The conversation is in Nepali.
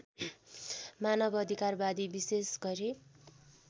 मानवअधिकारवादी विशेष गरी